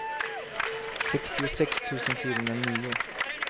sextiosex tusen fyrahundranio